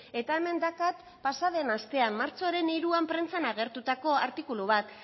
eta hemen daukat pasa den astean martxoaren hiruan prentsan agertutako artikulu bat